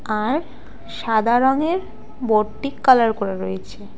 আর সাদা রঙের বোর্ড -টি কালার করে রয়েছে।